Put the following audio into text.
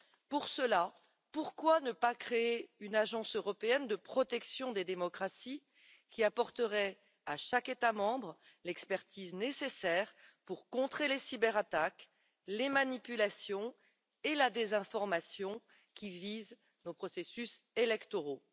Pour ce faire, pourquoi ne pas créer une agence européenne de protection des démocraties qui apporterait à chaque État membre l'expertise nécessaire pour contrer les cyberattaques, les manipulations et la désinformation qui visent les processus électoraux?